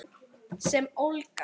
Sem ólga.